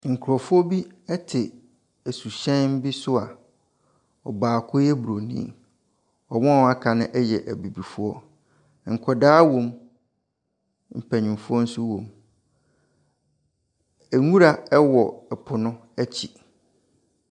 Nkurɔfoɔ bi te suhyɛn bi so a ɔbaako yɛ Buronin. Na wɔn a wɔaka no yɛ abibifoɔ. Nkwadaa wɔ mu, mpanimfoɔ nso wɔ mu. Nwura wɔ ɛpono akyi.